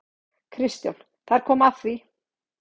KRISTJÁN: Þar kom að því!